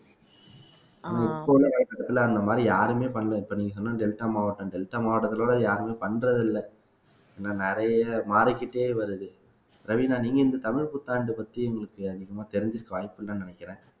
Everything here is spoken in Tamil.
இப்போல்லாம் அந்த மாரி யாருமே பண்ணல இப்ப நீங்க சொன்ன டெல்டா மாவட்டம் டெல்டா மாவட்டத்துல கூட யாருமே பண்றது இல்ல இன்னும் நிறைய மாறிக்கிட்டே வருது ராவினா நீங்க இந்த தமிழ் புத்தாண்டு பத்தி உங்களுக்கு அதிகமா தெரிஞ்சிருக்க வாய்ப்பில்லன்னு நினைக்கிறேன்